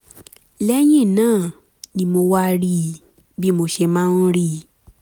lẹ́yìn náà ni mo wá rí i bí mo ṣe máa ń rí i